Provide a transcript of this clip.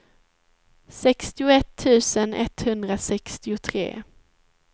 sextioett tusen etthundrasextiotre